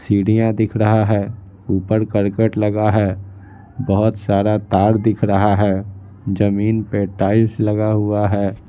सीढ़ियां दिख रहा है ऊपर करकट लगा है बहुत सारा तार दिख रहा है जमीन पे टाइल्स लगा हुआ है।